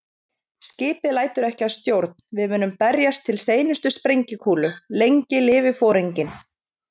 Skipið lætur ekki að stjórn, við munum berjast til seinustu sprengikúlu- lengi lifi Foringinn